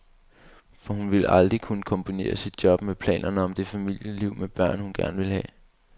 For hun ville aldrig kunne kombinere sit job med planerne om det familieliv med børn, hun gerne ville have.